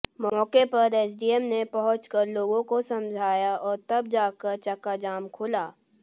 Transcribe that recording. मौके पर एसडीएम ने पहुंचकर लोगों को समझाया और तब जाकर चकाजाम खुला